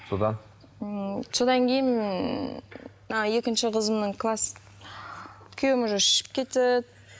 содан ммм содан кейін ммм мына екінші қызымның класс күйеуім уже ішіп кетеді